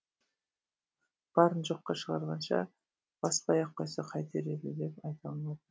барын жоққа шығарғанша баспай ақ қойса қайтер еді деп айта алмадым